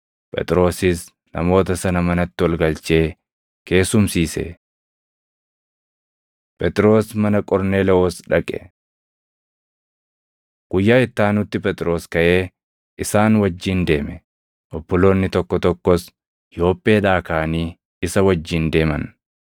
Phexrosis namoota sana manatti ol galchee keessumsiise. Phexros mana Qorneelewoos Dhaqe Guyyaa itti aanutti Phexros kaʼee isaan wajjin deeme; obboloonni tokko tokkos Yoopheedhaa kaʼanii isa wajjin deeman.